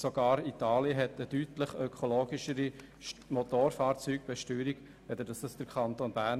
Doch sogar Italien hat eine deutlich ökologischere Motorfahrzeugsteuer als der Kanton Bern.